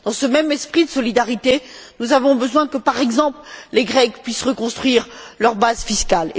Dans ce même esprit de solidarité, nous avons besoin que, par exemple, les Grecs puissent reconstruire leur base fiscale.